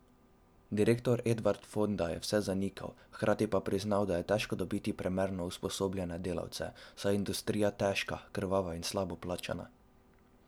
Direktor Edvard Fonda je vse zanikal, hkrati pa priznal, da je težko dobiti primerno usposobljene delavce, saj je industrija težka, krvava in slabo plačana.